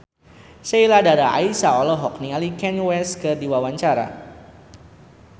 Sheila Dara Aisha olohok ningali Kanye West keur diwawancara